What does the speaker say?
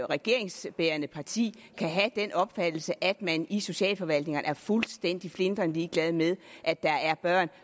regeringsbærende parti kan have den opfattelse at man i socialforvaltningerne er fuldstændig flintrende ligeglade med at der er børn